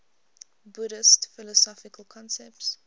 buddhist philosophical concepts